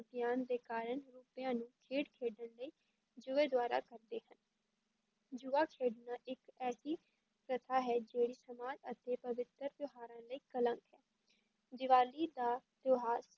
ਅਗਿਆਨ ਦੇ ਕਾਰਨ ਨੂੰ ਖੇਡ ਖੇਡਣ ਲਈ ਜੂਏ ਦੁਆਰਾ ਕਰਦੇ ਹਨ, ਜੂਆ ਖੇਡਣਾ ਇੱਕ ਐਸੀ ਪ੍ਰਥਾ ਹੈ ਜਿਹੜੀ ਸਮਾਜ ਅਤੇ ਪਵਿੱਤਰ ਤਿਉਹਾਰਾਂ ਲਈ ਕਲੰਕ ਹੈ ਦੀਵਾਲੀ ਦਾ ਤਿਉਹਾਰ,